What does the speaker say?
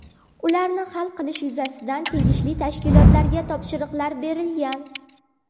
Ularni hal qilish yuzasidan tegishli tashkilotlarga topshiriqlar berilgan.